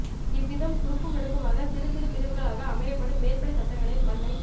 இவ்விதம் குறுக்கும் நெடுக்குமாகச் சிறு சிறு பிரிவுகளாக அமையப்படும் மேற்படி சட்டங்களில் மண்ணைக்